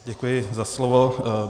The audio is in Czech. Děkuji za slovo.